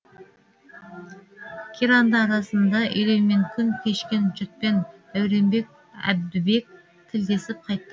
қиранды арасында үреймен күн кешкен жұртпен дәуренбек әбдібек тілдесіп қайтты